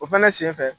O fɛnɛ senfɛ